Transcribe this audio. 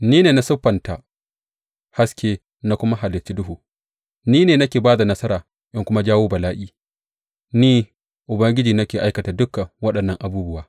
Ni ne na siffanta haske na kuma halicci duhu, ni ne nake ba da nasara in kuma jawo bala’i; ni, Ubangiji ne ke aikata dukan waɗannan abubuwa.